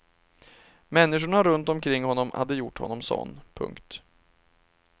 Människorna runt omkring honom hade gjort honom sådan. punkt